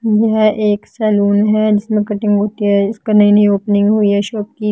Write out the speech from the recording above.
यह एक सलून है जिसमें कटिंग होती है इसका नई-नई ओपनिंग हुई है शॉप की।